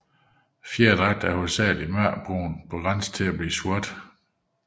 Fjerdragten er hovedsageligt mørkebrun på grænsen til sort